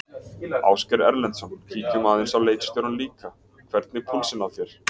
Ásgeir Erlendsson: Kíkjum aðeins á leikstjórann líka, hvernig púlsinn á þér?